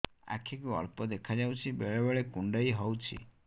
ଆଖି କୁ ଅଳ୍ପ ଦେଖା ଯାଉଛି ବେଳେ ବେଳେ କୁଣ୍ଡାଇ ହଉଛି